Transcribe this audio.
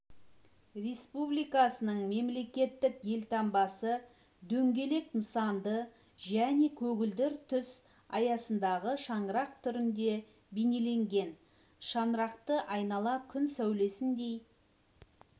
республикасының мемлекеттік елтаңбасыдөңгелек нысанды және көгілдір түс аясындағы шаңырақ түрінде бейнеленген шаңырақты айнала күн сәулесіндей